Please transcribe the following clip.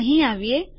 અહીં આવીએ